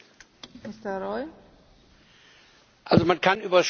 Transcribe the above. Man kann über statistische Fragen sehr viel und häufig diskutieren.